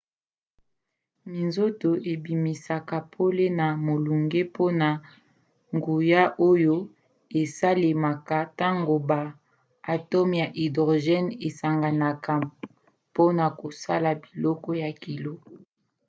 minzoto ebimisaka pole na molunge mpona nguya oyo esalemaka ntango ba atome ya hydrogène esanganaka mpona kosala biloko ya kilo